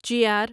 چیار